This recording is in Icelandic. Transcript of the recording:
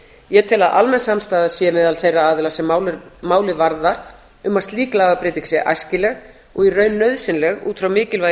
ég tel að almenn samstaða sé meðal þeirra aðila sem málið varðar um að slík lagabreyting sé æskileg og í raun nauðsynleg út frá mikilvægi